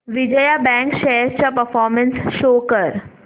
Vijaya bank shares चा performance show कर